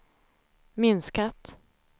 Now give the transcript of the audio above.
minskat